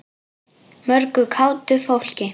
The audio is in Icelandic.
Mörgu kátu fólki.